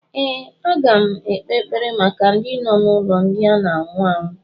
Ee, aga m ekpe ekpere maka ndị nọ n'ụlọ ndị na anwụ anwụ